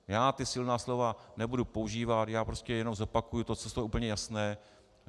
Já ta silná slova nebudu používat, já prostě jenom zopakuji to, co je úplně jasné.